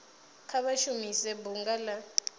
kha vha shumise bunga la